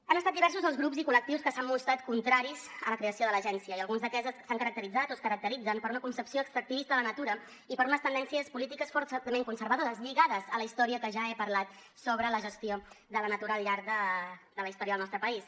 han estat diversos els grups i col·lectius que s’han mostrat contraris a la creació de l’agència i alguns d’aquests s’han caracteritzat o es caracteritzen per una concepció extractivista de la natura i per unes tendències polítiques fortament conservadores lligades a la història de què ja he parlat sobre la gestió de la natura al llarg de la història del nostre país